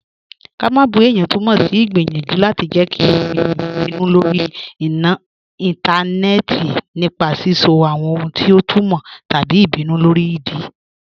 Ká má bù è̩yàn tùmọ sí igbiyanjú láti jẹ́ kí àwọn è̩niyàn bínú lórí ìntanẹẹ̀tì nípa sisọ̀ àwọn ohun ti ọ tùmọ́ tabí ìbínú lórí ìdí.